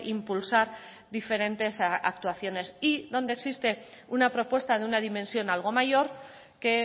impulsar diferentes actuaciones y donde existe una propuesta de una dimensión algo mayor que